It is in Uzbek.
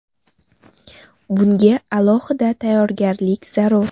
Bunga alohida tayyorgarlik zarur.